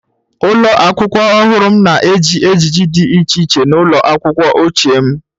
Ụlọ akwụkwọ ọhụrụ m na-eji ejiji dị iche iche n'ụlọ akwụkwọ ochie m.